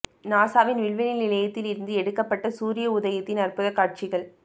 நாசாவின் விண்வெளி நிலையத்தில் இருந்து எடுக்கப்பட்ட சூரிய உதயத்தின் அற்புத காட்சிகள்